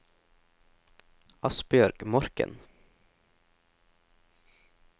Asbjørg Morken